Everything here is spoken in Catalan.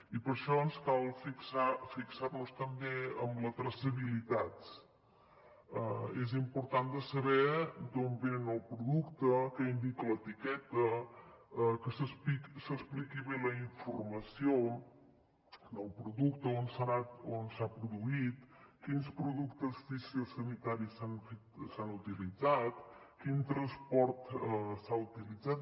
i per això ens cal fixar nos també en la traçabilitat és important saber d’on ve el producte què indica l’etiqueta que s’expliqui bé la informació del producte on s’ha produït quins productes fitosanitaris s’han utilitzat quin transport s’ha utilitzat